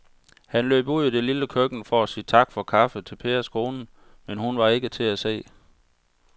Han løb ud i det lille køkken for at sige tak for kaffe til Pers kone, men hun var ikke til at se.